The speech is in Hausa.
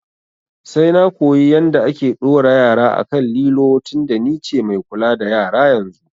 Sai na koyi yanda ake ɗora yara a kan lilo tinda ni ce mai kula da yara yanzu